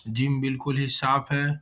Gym बिलकुल ही साफ़ है।